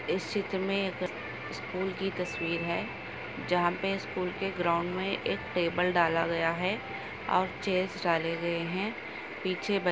इस चित्र में स्कूल की तस्वीर हैं जहाँ पे स्कूल के ग्राउंड में एक टेबल डाला गया हैं और चेयर्स डाले गए हैं पीछे--